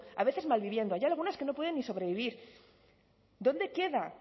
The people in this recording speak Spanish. a veces mal viviendo hay algunas que no pueden ni sobrevivir dónde queda